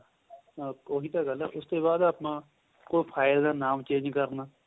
ਉਹੀ ਤਾਂ ਗੱਲ ਏ ਉਸ ਬਾਅਦ ਆਪਾਂ ਕੋਈ file ਦਾ ਨਾਮ change ਕਰਨਾ